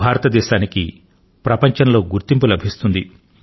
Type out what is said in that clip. భారతదేశానికి ప్రపంచంలో గుర్తింపు లభిస్తుంది